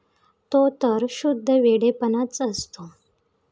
तो तर शुद्ध वेडेपणाच असतो.